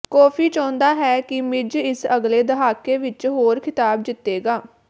coffee ਚਾਹੁੰਦਾ ਹੈ ਕਿ ਮਿਜ਼ ਇਸ ਅਗਲੇ ਦਹਾਕੇ ਵਿਚ ਹੋਰ ਖਿਤਾਬ ਜਿੱਤੇਗਾ